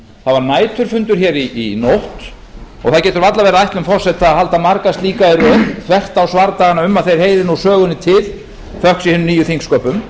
var næturfundur í nótt og það getur varla verið ætlun forseta að halda marga slíka í röð þvert á svardagana um að þeir heyri nú sögunni til þökk sé hinum nýju þingsköpum